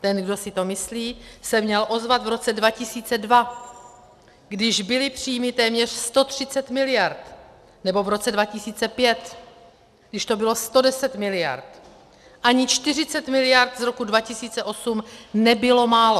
Ten, kde si to myslí, se měl ozvat v roce 2002, když byly příjmy téměř 130 miliard, nebo v roce 2005, když to bylo 110 miliard, ani 40 miliard z roku 2008 nebylo málo.